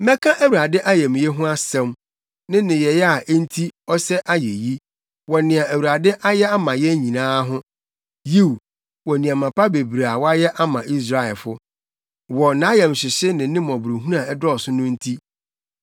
Mɛka Awurade ayamye ho asɛm, ne nneyɛe a enti ɔsɛ ayeyi, wɔ nea Awurade ayɛ ama yɛn nyinaa ho Yiw, wɔ nneɛma pa bebree a wayɛ ama Israelfifo. Wɔ nʼayamhyehye ne ne mmɔborɔhunu a ɛdɔɔso no nti.